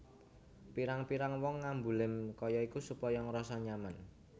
Pirang pirang wong ngambu lem kaya iku supaya ngrasa nyaman